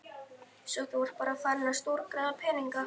Svo þú ert bara farinn að stórgræða peninga!